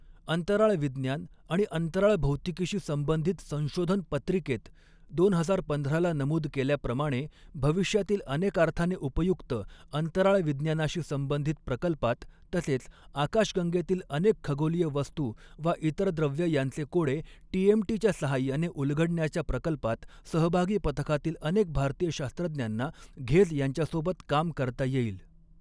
अंतराळविज्ञान आणि अंतराळभौतिकीशी संबधित संशोधन पत्रिकेत दोन हजार पंधराला नमूद केल्याप्रमाणे भविष्यातील अनेकार्थाने उपयुक्त अंतराळविज्ञानाशी संबधित प्रकल्पात तसेच आकाशगंगेतील अनेक खगोलीय वस्तू वा इतर द्रव्य यांचे कोडे टीएमटीच्या सहाय्याने उलगडण्याच्या प्रकल्पात सहभागी पथकातील अनेक भारतीय शास्त्रज्ञांना घेझ यांच्यासोबत काम करता येईल.